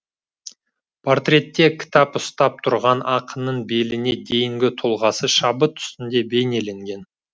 портретте кітап ұстап тұрған ақынның беліне дейінгі тұлғасы шабыт үстінде бейнеленген